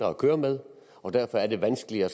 at køre med og derfor er det vanskeligere